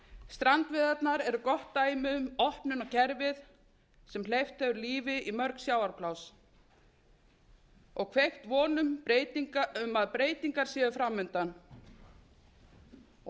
strandveiðarnar eru gott dæmi um opnun á kerfið sem hleypt hefur lífi í mörg sjávarpláss og kveikt von um að breytingar séu framundan og